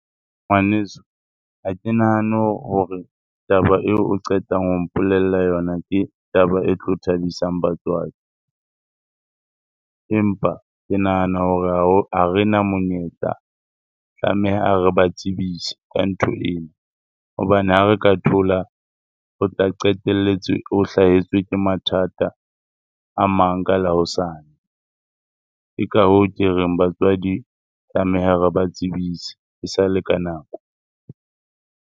Ngwaneso, ha ke nahane hore taba eo o qetang ho mpolella yona, ke taba e tlo thabisang batswadi. Empa ke nahana hore ha rena monyetla, tlameha re ba tsebise ka ntho ena. Hobane ha re ka thola, o tla qetelletse o hlahetswe ke mathata a mang ka la hosane. Ke ka hoo ke reng batswadi tlameha re ba tsebise e sa le ka nako.